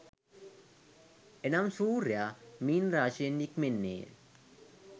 එනම් සූර්යයා මීන රාශියෙන් නික්මෙන්නේ